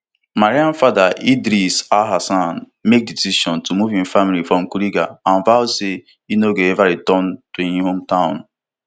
mariam father idris alhassan make di decision to move im family from kuriga and vow say e no go ever return to im hometown